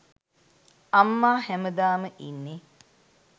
අම්මා හැමදාම ඉන්නෙ